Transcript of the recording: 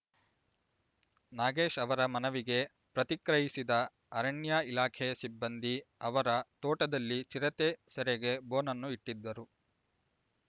ನಾಗೇಶ್ ಅವರ ಮನವಿಗೆ ಪ್ರತಿಕ್ರಯಿಸಿದ ಅರಣ್ಯ ಇಲಾಖೆ ಸಿಬ್ಬಂದಿ ಅವರ ತೋಟದಲ್ಲಿ ಚಿರತೆ ಸೆರೆಗೆ ಬೋನನ್ನು ಇಟ್ಟಿದ್ದರು